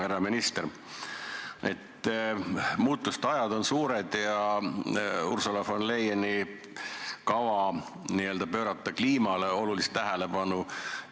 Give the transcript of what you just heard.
Härra minister, käes on suurte muutuste ajad ja Ursula von der Leyenil on kavas pöörata kliimale olulist tähelepanu.